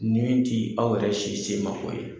Ni min t'i aw yɛrɛ si se ma ko ye.